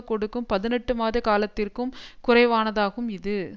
கொடுக்கும் பதினெட்டு மாத காலத்திற்கும் குறைவானதாகும் இது